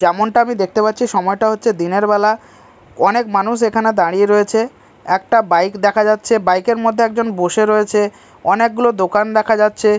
যেমনটা আমি দেখতে পাচ্ছি সময়টা হচ্ছে দিনের বেলা অনেক মানুষ এখানে দাঁড়িয়ে রয়েছে একটা বাইক দেখা যাচ্ছে বাইক -এর মধ্যে একজন বসে রয়েছে অনেকগুলো দোকান দেখা যাচ্ছে।